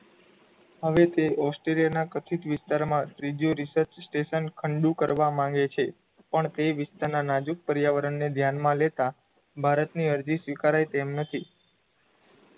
પણ તે વિસ્તારનાં નાજૂક પર્યાવરણ ને ધ્યાનમાં લેતા ભારતની અરજી સ્વીકારાય તેમ નથી